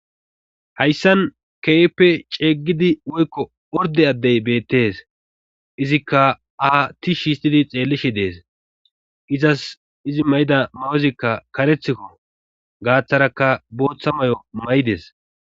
hayssan keeeppe ceeggidi woykko orde addey beettes izikka aatti shiistidi xeellishi dees izas izi may7ida mayozikka karethikko gaaththarakka booththa may7o may7ides